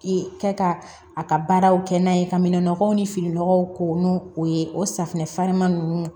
I kɛ ka a ka baaraw kɛ n'a ye ka minɛnɔgɔw ni finikɔlɔw ko n'u o ye o safunɛ farima ninnu